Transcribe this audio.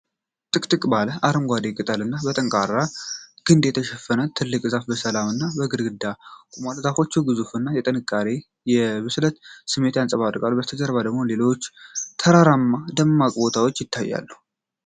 ጥቅጥቅ ባለ አረንጓዴ ቅጠልና በጠንካራ ግንድ የተሸፈነው ትልቅ ዛፍ በሰላም እና በግርማ ቆሟል። የዛፉ ግዙፍነት የጥንካሬ እና የብስለት ስሜትን ያንጸባርቃል፤ ከበስተጀርባው ደግሞ ሌሎች ተራራማ ደረቅ ቦታዎች ይታያሉ።